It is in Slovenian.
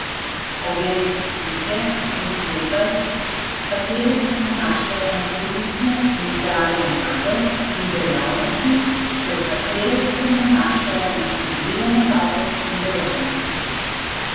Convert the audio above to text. Oglej si slike in sklepaj, katere se nanašajo na koristne in zdrave navade in dejavnosti ter katere se nanašajo na škodljive navade in dejavnosti.